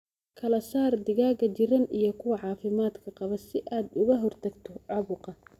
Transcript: Kala saar digaaga jiran iyo kuwa caafimaad qaba si aad uga hortagto caabuqa.